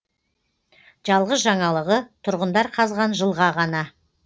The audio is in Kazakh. жалғыз жаңалығы тұрғындар қазған жылға ғана